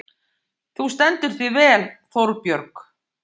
Þú stendur þig vel, Þórbjörg!